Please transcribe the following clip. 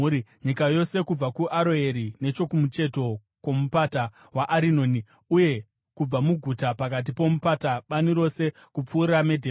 Nyika yose kubva kuAroeri, nechokumucheto kwoMupata weArinoni, uye kubva muguta pakati pomupata, bani rose kupfuura Medhebha